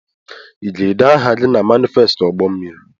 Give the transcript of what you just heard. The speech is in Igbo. I ga-ede ahụ gị na manifesti ụgbọ mmiri?